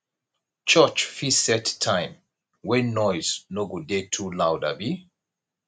church fit set time wey noise no go dey too loud abi